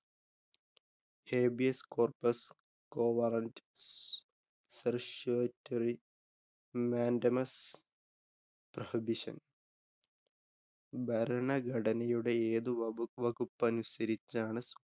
Habeas Corpus, Quo Warranto, Certiorari, Mandamus, Prohibition. ഭരണഘടനയുടെ ഏതു വകുപ്പ വകുപ്പനുസരിച്ചാണ്